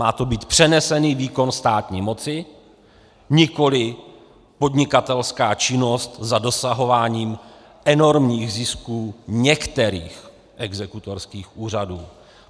Má to být přenesený výkon státní moci, nikoliv podnikatelská činnost za dosahování enormních zisků některých exekutorských úřadů.